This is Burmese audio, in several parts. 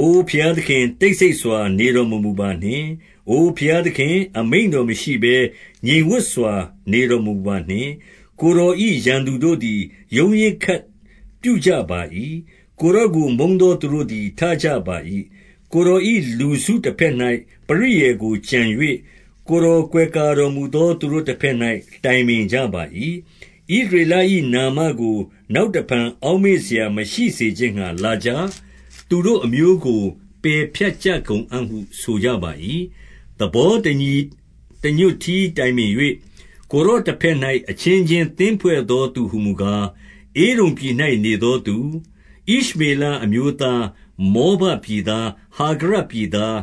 အိုဘုရားသခင်၊ တိတ်ဆိတ်စွာနေတော်မမူပါ နှင့်။ အို ဘုရားသခင်၊ အမိန့်တော်မရှိဘဲ ငြိမ်ဝပ်စွာ နေတော်မမူပါနှင့်။ ကိုယ်တော်၏ရန်သူတို့သည် ရုန်းရင်းခတ်ပြုကြပါ၏။ ကိုယ်တော်ကို မုန်းသောသူတို့သည် ထကြပါ၏။ ကိုယ်တော်၏ လူစုတဘက်၌ပရိယာယ်ကိုကြံ၍၊ ကိုယ်တော် ကွယ်ကာတော်မူသော သူတို့တဘက်၌ တိုင်ပင်ကြပါ၏။ ဣသရေလ၏နာမကို နောက်တဖန်အောက် မေ့စရာမရှိစေခြင်းငှါ လာကြ၊ သူတို့အမျိုးကို ပယ်ဖြတ် ကြကုန်အံ့ဟု ဆိုကြပါ၏။ သဘော တညီတညွတ်တည်း တိုင်ပင်၍၊ ကိုယ် တော်တဘက်၌ အချင်းချင်းသင်းဖွဲ့သော သူဟူမူကား။ ဧဒုံပြည်၌နေသောသူ၊ ဣရှမေလအမျိုးသား၊ မောဘပြည်သား၊ ဟာဂရပြည်သား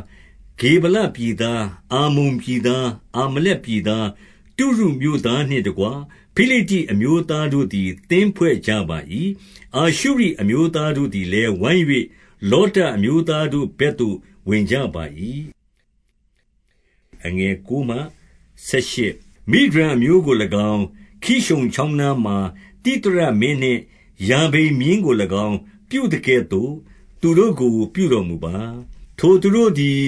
၊ ဂေဗလပြည်သား၊ အမ္မုန်ပြည်သား၊ အာမလက် ပြည်သား၊ တုရုမြို့သားနှင့်တကွ ဖိလိတ္တိ အမျိုးသားတို့ သည် သင်းဖွဲ့ကြပါ၏။ အာရှုရိအမျိုးသားတို့သည်လည်း၊ ဝိုင်း၍ လောတအမျိုးသားတို့ဘက်သို့ ဝင်ကြပါ၏။ မိဒျန်အမျိုးကို၎င်း၊ ခိရှုန်ချောင်းနားမှာ သိသရ မင်းနှင့် ယာဘိန်မင်းကို၎င်း ပြုသကဲ့သို့ သူတို့ကို ပြုတော် မူပါ။ ထိုသူတို့သည်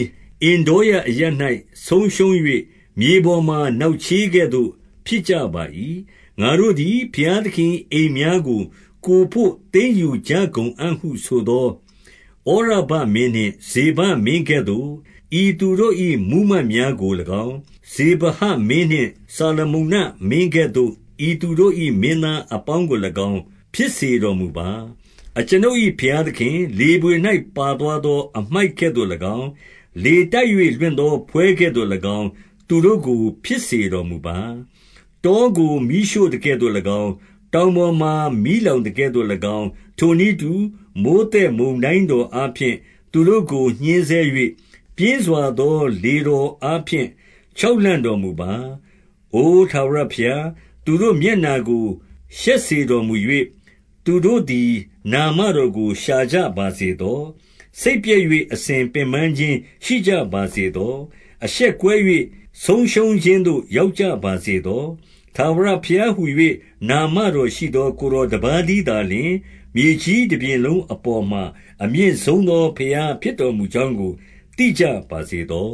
အင်္ဒေါရအရပ်၌ ဆုံးရှုံး၍၊ မြေ ပေါ်မှာ နောက်ချေးကဲ့သို့ ဖြစ်ကြပါ၏။ ငါတို့သည် ဘုရားသခင်၏အိမ်များကို ကိုယ်ဘို့ သိမ်းယူကြကုန်အံ့ဟု ဆိုသောဩရဘမင်းနှင့် ဇေဘမင်း ကဲ့သို့၊ ဤသူတို့၏မှူးမတ်များကို၎င်း၊ ဇေဘဟမင်းနှင့် ဇာလမုန္နမင်း ကဲ့သို့ ဤသူတို့၏ မင်းသားအပေါင်းကို၎င်း ဖြစ်စေတော်မူပါ။ အကျွန်ုပ်၏ ဘုရားသခင်၊ လေဘွေ၌ ပါသွား သော အမှိုက်ကဲ့သို့၎င်း၊ လေတိုက်၍ လွင့်သော ဖွဲ့ကဲ့သို့ ၎င်း၊ လေတိုက်၍ လွင့်သောဖွဲ့ကဲ့သို့၎င်း သူတို့ကို ဖြစ်စေ တော်မူပါ။ တောကို မီးရှို့သကဲ့သို့၎င်း၊ တောင်ပေါ်မှာ မီးလောင်သကဲ့သို့၎င်း၊ ထိုနည်းတူ၊ မိုဃ်းသက်မုန်တိုင်းတော်အားဖြင့် သူတို့ကိုညှဉ်းဆဲ၍၊ ပြင်းစွာသော လေတော်အားဖြင့် ချောက်လှန့်တော်မူပါ။ အိုထာဝရဘုရား၊ သူတို့မျက်နှာကို ရှက်စေတော် မူ၍ သူတို့သည် နာမတော်ကို ရှာကြပါစေသော။ စိတ်ပျက်၍ အစဉ်ပင်ပန်းခြင်းရှိကြပါစေသော။ အရှက်ကွဲ၍ ဆုံးရှုံးခြင်းသို့ ရောက်ကြပါစေသော။ ထာဝရဘုရားဟူ၍ နာမတော်ရှိသော ကိုယ် တော်တပါးတည်းသာလျှင်၊ မြေကြီးတပြင်လုံးအပေါ်မှာ အမြင့်ဆုံးသောဘုရားဖြစ်တော်မူကြောင်းကို သိကြပါ စေသော